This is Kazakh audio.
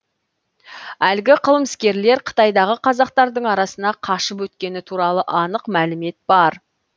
әлгі қылмыскерлер қытайдағы қазақтардың арасына қашып өткені туралы анық мәлімет бар